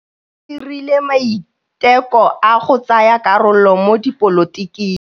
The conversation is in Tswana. O dirile maitekô a go tsaya karolo mo dipolotiking.